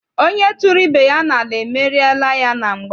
Onye tụrụ ibe ya n'ala, emeriela ya na mgba.